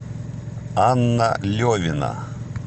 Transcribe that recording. анна левина